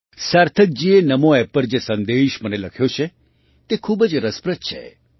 સાર્થકજીએ નામો App પર જે સંદેશ મને લખ્યો છે તે ખૂબ જ રસપ્રદ છે